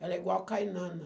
Ela é igual a caninana.